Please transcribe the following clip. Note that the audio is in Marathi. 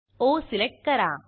ओ सिलेक्ट करा